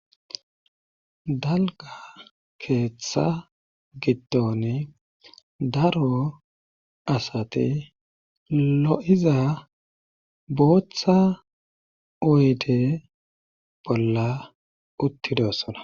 Dalga keeththa gitton daro asati lo'za booththa oyde bolla uttidosona.